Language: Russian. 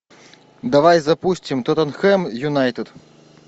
давай запустим тоттенхэм юнайтед